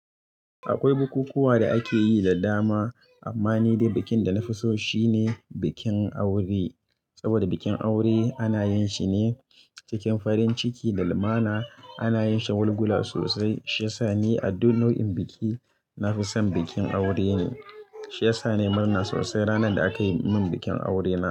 Akwai bukukuwa da akeyi da dama amma ni dai bikin da na fi so shine bikin aure. Saboda bikin aure ana yin shi ne cikin farin ciki da limana, ana yin shagulgula sosai. Shi yasa ni a duk nau'in biki nafi son bikin aure ne. Shi yasa nayi murna sosai ranar da aka yi mun bikin aure na.